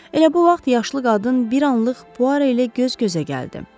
Elə bu vaxt yaşlı qadın bir anlıq Puaro ilə göz-gözə gəldi.